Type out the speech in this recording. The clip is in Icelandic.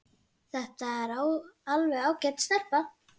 Þetta er alveg ágæt stelpa.